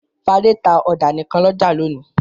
Fadé tá ọ̀dà nìkan ní ọjà lónìí.